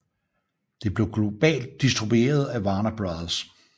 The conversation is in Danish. Det blev globalt distribueret af Warner Bros